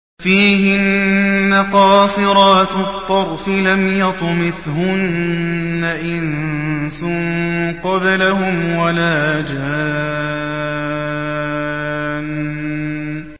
فِيهِنَّ قَاصِرَاتُ الطَّرْفِ لَمْ يَطْمِثْهُنَّ إِنسٌ قَبْلَهُمْ وَلَا جَانٌّ